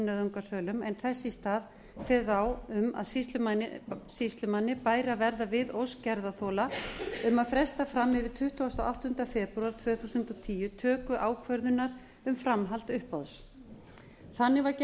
nauðungarsölum en þess í stað kveðið á um að sýslumanni bæri að verða við ósk gerðarþola um að fresta fram yfir tuttugasta og áttunda febrúar tvö þúsund og tíu töku ákvörðunar um framhald uppboðs þannig var